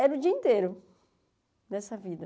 Era o dia inteiro nessa vida.